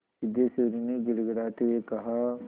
सिद्धेश्वरी ने गिड़गिड़ाते हुए कहा